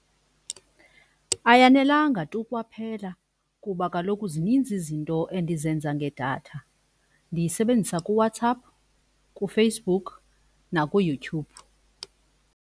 Ayanelanga tu kwaphela kuba kaloku zininzi izinto endizenza ngedatha. Ndiyisebenzisa kuWhatsApp kuFacebook nakuYouTube.